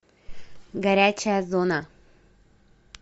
горячая зона